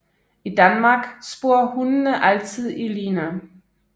I Danmark sporer hundene altid i line